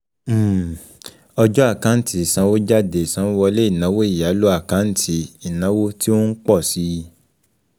um Ọjọ́ Àkáǹtì ìsanwójáde Ìsanwówọlé Inawo ìyálò um jẹ́ àkáǹtì um ìnáwó tí ó ń ń pọ̀ síi